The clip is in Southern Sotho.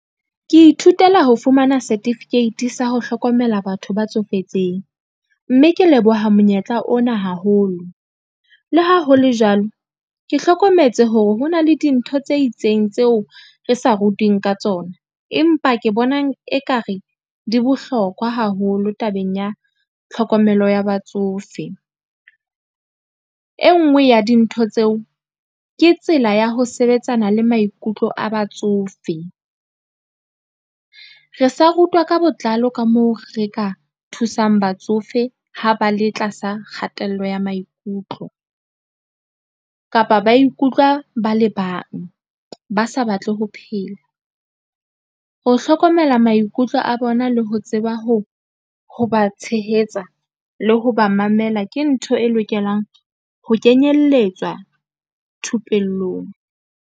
Ke ithutela ho fumana setifikeiti sa ho hlokomela batho ba tsofetseng, mme ke leboha monyetla ona haholo. Le ha ho le jwalo, ke hlokometse hore hona le dintho tse itseng tseo re sa rutuweng ka tsona, empa ke bonang ekare di bohlokwa haholo tabeng ya tlhokomelo ya batsofe. E ngwe ya dintho tseo, ke tsela ya ho sebetsana le maikutlo a batsofe, re sa rutwa ka botlalo ka moo re ka thusang batsofe ha ba le tlasa kgatello ya maikutlo, kapa ba ikutlwa ba le bang ba sa batle ho phela. Ho hlokomela maikutlo a bona le ho tseba, ho ba tshehetsa le ho ba mamela. Ke ntho e lokelang ho kenyelletswa thupellong.